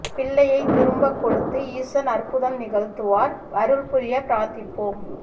பிள்ளையை திரும்பக் கொடுத்து ஈசன் அற்புதம் நிகழ்த்துவார் அருள் புரிய பிரார்த்திப்போம்